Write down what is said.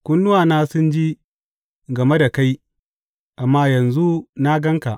Kunnuwana sun ji game da kai amma yanzu na gan ka.